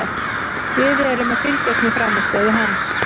Við erum að fylgjast með frammistöðu hans.